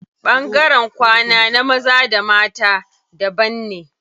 Ɓangaren kwana na maza da na mata daban ne.